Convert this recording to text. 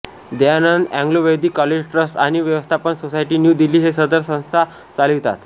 Dayanand Anglo Vedic college trust आणि व्यवस्थापन society new Delhi हे सदर संस्था चालवितात